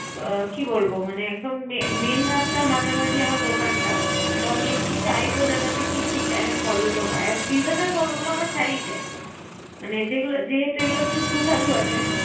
অ কি বলবো main রাস্তার মাঝামাঝি আমার দোকানটা তো আমি একটু চাইবো যেন ঠিক ঠিক Time এ ফলগুলো পাই। এবং সিজনের ফলগুলো আমি চাই চাই। মানে যেহেতু এগুলা একটু সুসষাধু আছে।